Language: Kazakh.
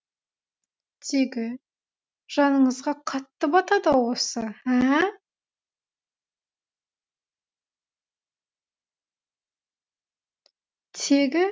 тегі жаныңызға қатты батады ау осы ә ә